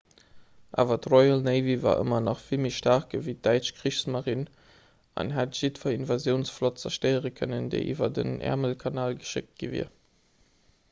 awer d'royal navy war ëmmer nach vill méi staark ewéi d'däitsch kriegsmarine an hätt jiddwer invasiounsflott zerstéiere kënnen déi iwwer den äermelkanal geschéckt gi wier